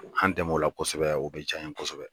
An denmuso o la kosɛbɛ o bɛ diya an ye kosɛbɛ